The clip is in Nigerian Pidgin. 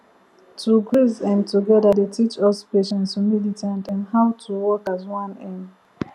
to graze um together dey teach us patience humility and um how to work as one um